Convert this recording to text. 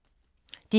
DR K